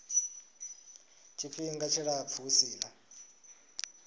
tshifhinga tshilapfu hu si na